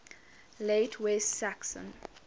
late west saxon